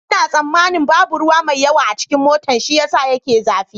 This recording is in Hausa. Ina tsammanin babu ruwa mai yawa a cikin motan shi ya sa yake zafi.